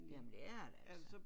Jamen det er det altså